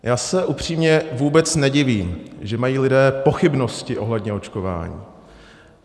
Já se upřímně vůbec nedivím, že mají lidé pochybnosti ohledně očkování.